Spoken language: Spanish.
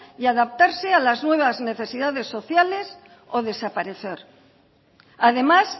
y a adaptarse a las nuevas necesidades sociales o desaparecer además